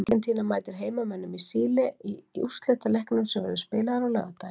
Argentína mætir heimamönnum í Síle í úrslitaleiknum sem verður spilaður á laugardaginn.